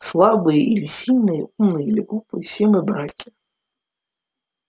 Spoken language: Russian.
слабые или сильные умные или глупые все мы братья